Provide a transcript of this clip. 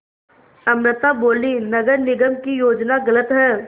अमृता बोलीं नगर निगम की योजना गलत है